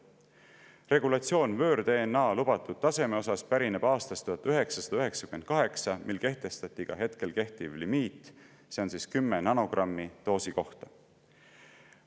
Regulatsioon võõr-DNA lubatud taseme kohta pärineb aastast 1998, mil kehtestati ka hetkel kehtiv limiit, mis on 10 nanogrammi doosi kohta.